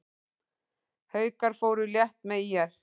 Haukar fóru létt með ÍR